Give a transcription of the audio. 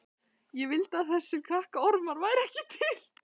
Ég vildi að þessir krakkaormar væru ekki til.